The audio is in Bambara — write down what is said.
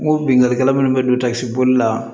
N ko binkannikɛla munnu be don takisi boli la